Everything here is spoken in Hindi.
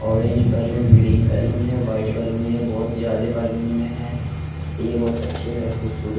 ऑरेंज बैलून ग्रीन बैलून है वाइट बैलून है ये बोहोत ज्यादे बैलून में है ये बहुत अच्छे है खूबसूर --